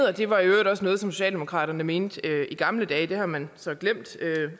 og det var i øvrigt også noget socialdemokratiet mente i gamle dage det har man så glemt